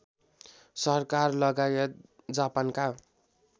सरकार लगायत जापानका